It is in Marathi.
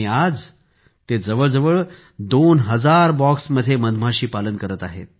आज ते जवळजवळ दोन हजार बॉक्स मध्ये मधमाशी पालन करत आहेत